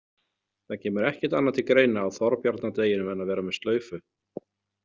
Það kemur ekkert annað til greina á Þorbjarnardeginum en að vera með slaufu.